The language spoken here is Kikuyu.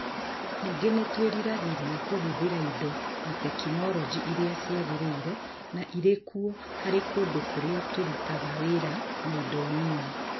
Ningĩ nĩ twĩriragĩria kũhũthĩra indo na tekinoronjĩ iria ciagĩrĩire na irĩ kuo harĩ kũndũ kũrĩa tũrutaga wĩra na indo nini.